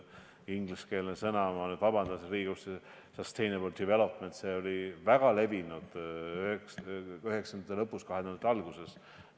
Ingliskeelne sõna – ma nüüd vabandan siin Riigikogus – selle tähistamiseks on sustainable development, see oli väga levinud 1990-ndate lõpus ja 2000-ndate alguses.